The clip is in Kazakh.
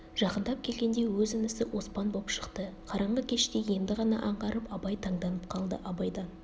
жақындап келгенде өз інісі оспан боп шықты қараңғы кеште енді ғана аңғарып абай таңданып қалды абайдан